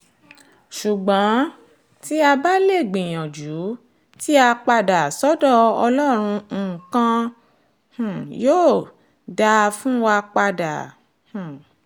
ṣùgbọ́n tí a bá lè gbìyànjú tí a padà sọ́dọ̀ ọlọ́run nǹkan um yóò yóò dáa fún wa padà um